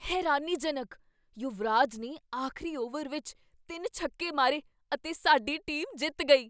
ਹੈਰਾਨੀਜਨਕ! ਯੁਵਰਾਜ ਨੇ ਆਖ਼ਰੀ ਓਵਰ ਵਿੱਚ ਤਿੰਨ ਛੱਕੇ ਮਾਰੇ ਅਤੇ ਸਾਡੀ ਟੀਮ ਜਿੱਤ ਗਈ।